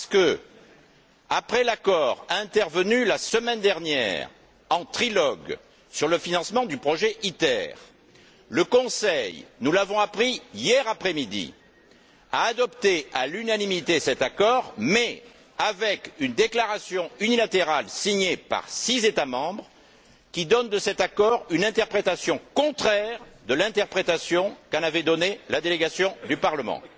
En effet, après l'accord intervenu la semaine dernière, en trilogue, sur le financement du projet ITER, le Conseil nous l'avons appris hier après midi a adopté cet accord à l'unanimité, mais avec une déclaration unilatérale signée par six États membres, qui donne de cet accord une interprétation contraire à l'interprétation qu'en avait donnée la délégation du Parlement.